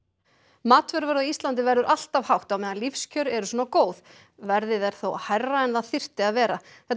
matvöruverð á Íslandi verður alltaf hátt á meðan lífskjör eru svona góð verðið er þó hærra en það þyrfti að vera þetta